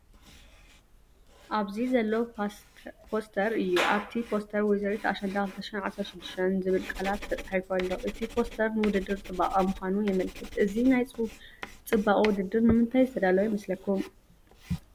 ኣብዚ ዘሎ ፖስተር እዩ። ኣብቲ ፖስተር “ወይዘሪት ኣሸንዳ 2016” ዝብል ቃላት ተጻሒፉ ኣሎ። እቲ ፖስተር ንውድድር ጽባቐ ምዃኑ የመልክት። እዚ ናይ ጽባቐ ውድድር ንምንታይ ዝተዳለወ ይመስለኩም?